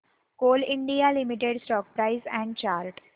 Coal India Limited stock price and chart